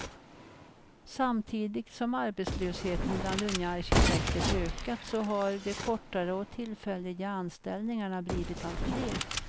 Samtidigt som arbetslösheten bland unga arkitekter ökat så har de kortare och tillfälliga anställningarna blivit allt fler.